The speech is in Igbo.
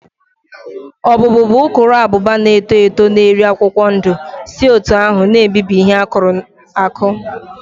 Ọbụ́bụụ bụ ukuruabụba na-eto eto na-eri akwụkwọ ndụ si otú ahụ na-ebibi ihe akụrụ akụ